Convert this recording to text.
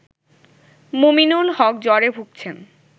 মুমিনুল হক জ্বরে ভুগছেন